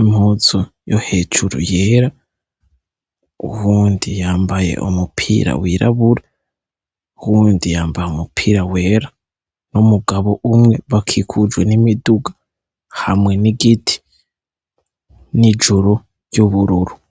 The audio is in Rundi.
impuzu yo hejuru yera, uwundi yambaye umupira wirabura, uwundi yambaye umupira wera, n'umugabo umwe, bakikujwe n' imiduga hamwe n' igiti, n' ijuru ry' ubururu.